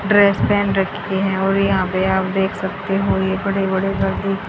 dress पहेन रखे हैं और यहां पे आप देख सकते हो ये बड़े बड़े गाड़ी--